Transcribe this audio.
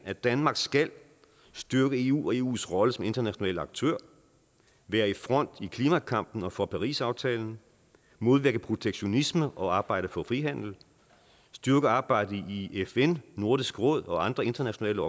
at danmark skal styrke eu og eus rolle som international aktør være i front i klimakampen og for parisaftalen modvirke protektionisme og arbejde for frihandel styrke arbejdet i fn nordisk råd og andre internationale